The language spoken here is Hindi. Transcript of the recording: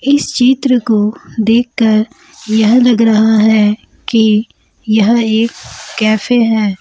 इस चित्र को देखकर यह लग रहा है कि यह एक कैफे है।